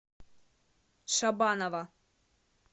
шабанова